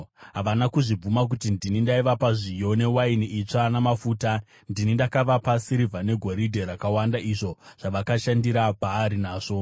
Havana kuzvibvuma kuti ndini ndaivapa zviyo, newaini itsva namafuta, ndini ndakavapa sirivha negoridhe rakawanda izvo zvavakashandira Bhaari nazvo.